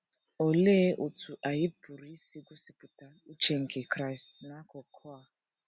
Olee otú anyị pụrụ isi gosipụta uche nke Kraịst n’akụkụ a?